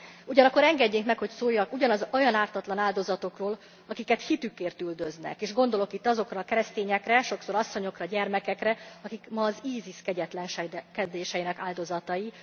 Ugyanakkor engedjék meg, hogy szóljak olyan ártatlan áldozatokról is, akiket hitükért üldöznek, gondolok itt azokra a keresztényekre, sokszor asszonyokra, gyermekekre, akik ma az ISIS kegyetlenkedéseinek áldozatai.